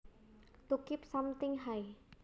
To keep something high